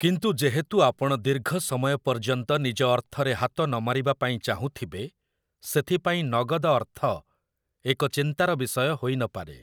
କିନ୍ତୁ ଯେହେତୁ ଆପଣ ଦୀର୍ଘ ସମୟ ପର୍ଯ୍ୟନ୍ତ ନିଜ ଅର୍ଥରେ ହାତ ନମାରିବା ପାାଇଁ ଚାହୁଁଥିବେ, ସେଥିପାଇଁ ନଗଦ ଅର୍ଥ ଏକ ଚିନ୍ତାର ବିଷୟ ହୋଇ ନ ପାରେ ।